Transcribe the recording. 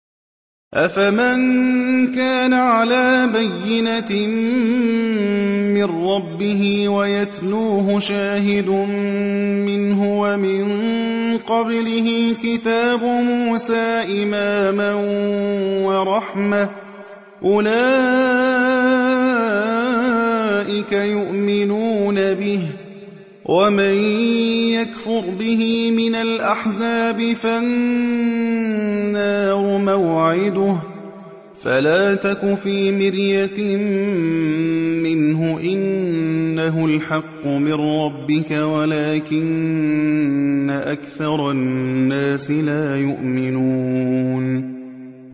أَفَمَن كَانَ عَلَىٰ بَيِّنَةٍ مِّن رَّبِّهِ وَيَتْلُوهُ شَاهِدٌ مِّنْهُ وَمِن قَبْلِهِ كِتَابُ مُوسَىٰ إِمَامًا وَرَحْمَةً ۚ أُولَٰئِكَ يُؤْمِنُونَ بِهِ ۚ وَمَن يَكْفُرْ بِهِ مِنَ الْأَحْزَابِ فَالنَّارُ مَوْعِدُهُ ۚ فَلَا تَكُ فِي مِرْيَةٍ مِّنْهُ ۚ إِنَّهُ الْحَقُّ مِن رَّبِّكَ وَلَٰكِنَّ أَكْثَرَ النَّاسِ لَا يُؤْمِنُونَ